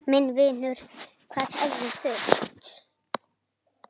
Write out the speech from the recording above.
Minn vinur, hvað hefði þurft?